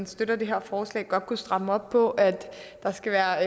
støtter det her forslag godt kunne stramme op på at der skal være